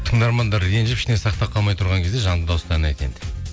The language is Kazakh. тыңдармандар ренжіп ішіне сақтап қалмай тұрған кезде жанды дауыста ән айт енді